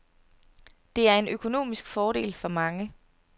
Det er en økonomisk fordel for mange.